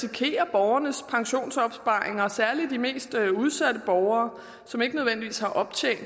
borgernes pensionsopsparing gælder særlig de mest udsatte borgere som ikke nødvendigvis har optjent